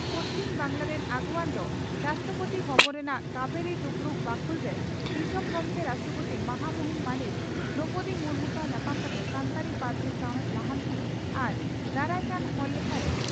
ᱯᱚᱥᱪᱤᱢ ᱵᱟᱝᱜᱽᱞᱟ ᱨᱤᱱ ᱟᱹᱜᱩᱣᱟᱹᱱ ᱫᱚ ᱨᱟᱥᱴᱨᱚᱯᱳᱛᱤ ᱵᱷᱚᱵᱚᱱ ᱨᱮᱱᱟᱜ ᱠᱟᱵᱷᱮᱨᱤ ᱫᱩᱯᱲᱩᱵ ᱵᱟᱠᱷᱩᱞ ᱨᱮ ᱫᱤᱥᱚᱢ ᱜᱚᱢᱠᱮ (ᱨᱟᱥᱴᱨᱚᱯᱳᱛᱤ) ᱢᱟᱦᱟ ᱢᱩᱦᱤᱱ ᱢᱟᱹᱱᱤᱡ ᱫᱨᱚᱣᱯᱚᱫᱤ ᱢᱩᱨᱢᱩ ᱥᱟᱣ ᱧᱟᱯᱟᱢ ᱠᱟᱛᱮ ᱥᱟᱱᱛᱟᱲᱤ ᱯᱟᱹᱨᱥᱤ ᱥᱟᱣᱦᱮᱫ ᱞᱟᱦᱟᱱᱛᱤ ᱟᱨ ᱫᱟᱨᱟᱭ ᱠᱟᱱ ᱦᱚᱲ ᱞᱮᱠᱷᱟ ᱨᱮ